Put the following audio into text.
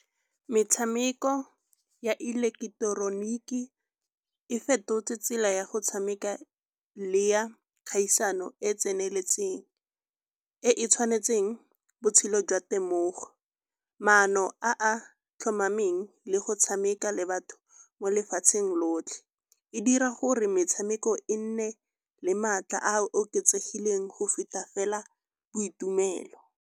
Metshameko ya ileketeroniki e fetotse tsela ya go tshameka le ya kgaisano e e tseneletseng e e tshwanetseng botshelo jwa temogo. Maano a a tlhomameng le go tshameka le batho mo lefatsheng lotlhe, e dira gore metshameko e nne le maatla a a oketsegileng go feta fela boitumelo.